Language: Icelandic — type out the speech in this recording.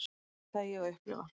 Þetta ætlaði ég að upplifa.